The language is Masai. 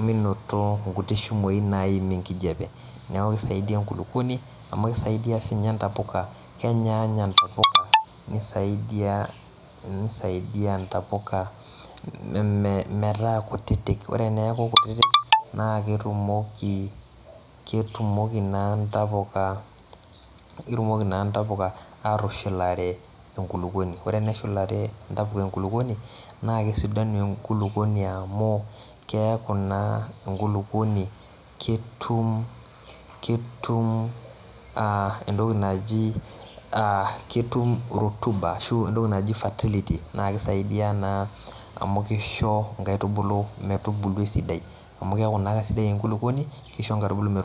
minoto nkuti shimoi naim enkijape neaku kisaidia enkulukuoni amu kisidia sinye ntapuka amu kenya ntapuka nisaidia ntapuka metaa kutitik, ore eneaku kutitik na ketumoki na ntapuka ketumoki na ntapuka atushulare enkulukuoni ore teneshulare ntapuka enkulukuoni na kesidanu enkulukuoni amu keaku na enkulukuoni ketum ketum a entoki naji ketum rotuba ashu entoki naji fertility amu kisho nkaitubulu metubulu esidai amu keaku na kesidai enkulukuoni kisho nkaitubulu me.